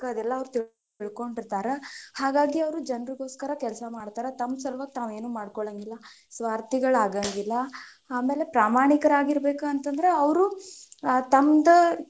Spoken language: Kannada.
ಅದೆಲ್ಲಾ ಅವ್ರ್ ತಿಳ್ಕೊಂಡಿರತಾರ, ಹಾಗಾಗಿ ಅವ್ರು ಜನ್ರಗೋಸ್ಕರ ಕೆಲಸ ಮಾಡ್ತಾರ ತಮ್ಮ ಸಲುವಾಗಿ ತಾವೇನು ಮಾಡ್ಕೊಳಂಗಿಲ್ಲಾ, ಸ್ವಾರ್ಥಿಗಳಾಗಂಗಿಲ್ಲ, ಆಮೇಲೆ ಪ್ರಾಮಾಣಿಕರಾಗಿರ್ಬೇಕ್ ಅಂತಂದ್ರ ಅವ್ರು ತಮ್ಮದ,